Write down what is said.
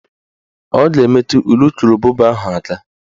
Ọ ga-emetu ulukurububa ahụ aka